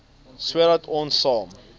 sodat ons saam